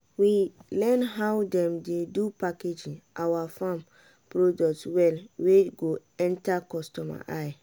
we learn how dem dey do packaging awa farm product well wey go enter customer eye.